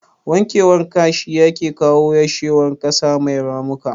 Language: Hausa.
Wankewar kasa shi yake kawo yashewar kasa mai ramuka